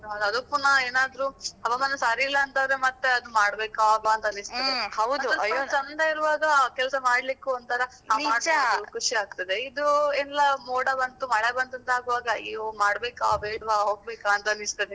ಅದು ಪುನಃ ಏನಾದ್ರೂ ಹವಾಮಾನ ಸರಿ ಇಲ್ಲ ಅಂತ ಆದ್ರೆ ಮತ್ತೆ ಅದು ಮಾಡ್ಬೇಕಾ ಅಬ್ಬಾ ಅಂತ ಅನಿಸ್ತದೆ. ಚಂದ ಇರುವಾಗ ಹಾ ಕೆಲ್ಸ ಮಾಡ್ಲಿಕ್ಕೂ ಒಂತರ ಖುಷಿ ಆಗ್ತದೆ, ಇದು ಎಲ್ಲ ಮೋಡ ಬಂತು, ಮಳೆ ಬಂತು ಅಂತ ಆಗುವಾಗ ಅಯ್ಯೋ ಮಾಡ್ಬೇಕಾ ಬೇಡ್ವಾ ಹೋಗ್ಬೇಕಾ ಅಂತ ಅನಿಸ್ತದೆ.